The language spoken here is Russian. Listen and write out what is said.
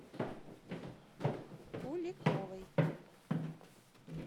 куликовой